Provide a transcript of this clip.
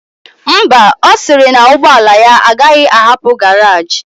Ḿbà, osiri na ụgbọla ya agaghi ahapu garage.